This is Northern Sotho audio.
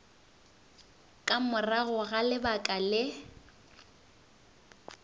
ka morago ga lebaka le